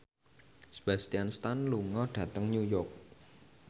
Sebastian Stan lunga dhateng New York